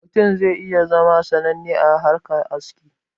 Mutum zai iya zama sananne a harkan aski